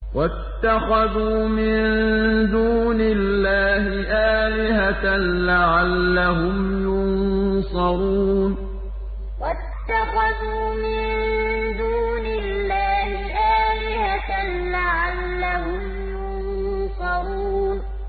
وَاتَّخَذُوا مِن دُونِ اللَّهِ آلِهَةً لَّعَلَّهُمْ يُنصَرُونَ وَاتَّخَذُوا مِن دُونِ اللَّهِ آلِهَةً لَّعَلَّهُمْ يُنصَرُونَ